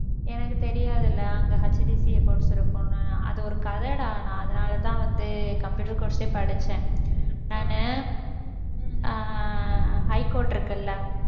எனக்கு தெரியாது இல்ல அங்க HDCA course இருக்கும்ன்னு அது ஒரு கதைடா நான் அதனாலதான் வந்து computer course யே படிச்சேன். நானு ஆஹ் high court இருக்குல்ல